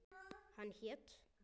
Hann hét